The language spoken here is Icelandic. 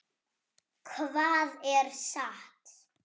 Hvað er satt?